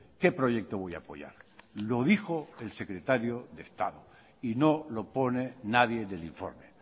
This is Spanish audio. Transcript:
qué proyecto voy a apoyar lo dijo el secretario de estado y no lo pone nadie del informe